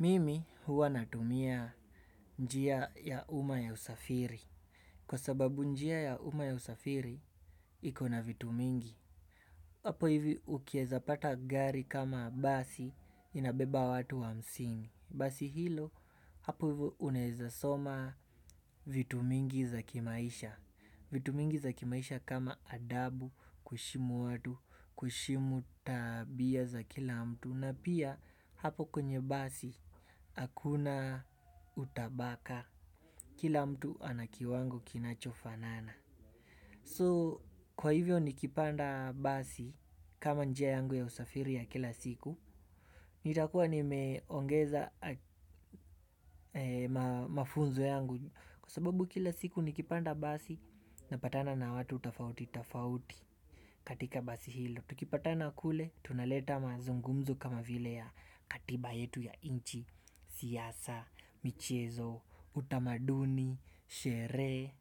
Mimi huwa natumia njia ya uma ya usafiri. Kwa sababu njia ya uma ya usafiri, iko na vitu mingi. Hapo hivi ukiweza pata gari kama basi inabeba watu hamsini. Basi hilo, hapo ivo unaweza soma vitu mingi za kimaisha. Vitu mingi za kimaisha kama adabu, kushimu watu, kushimu tabia za kila mtu. Na pia hapo kwenye basi akuna utabaka kila mtu ana kiwango kinachofanana So kwa hivyo nikipanda basi kama njia yangu ya usafiri ya kila siku. Nitakuwa nimeongeza mafunzo yangu. Kwa sababu kila siku nikipanda basi napatana na watu tofauti tofauti katika basi hilo. Tukipatana kule tunaleta mazungumzo kama vile ya katiba yetu ya nchi, siasa, michezo, utamaduni, sherehe.